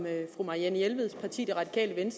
at fru marianne jelved siger